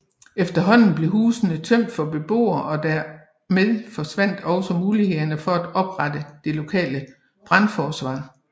Efterhånden blev husene tømt for beboere og dermed forsvandt også mulighederne for at opretholde det lokale brandforsvar